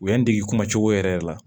U y'an dege kuma cogo yɛrɛ yɛrɛ la